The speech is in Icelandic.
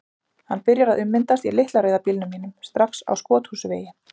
Hann byrjar að ummyndast í litla rauða bílnum mínum, strax á Skothúsvegi.